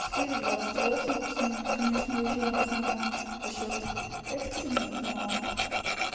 четыре двадцать восемь плюс минус конечно выезжаем в основном за счёт экстренных но